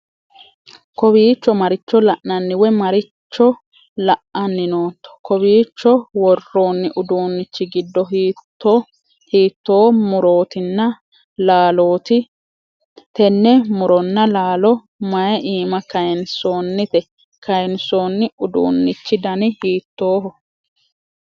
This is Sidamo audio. kowiicho maricho la'anni woy maricho la'anni nootto? kowiicho worroonni uddunnichi giddo hiitto murootinna laalooti? tenne muronna laalo may iima kayinsoonnite? kayinsoonni uduunnichi dani hiittoho?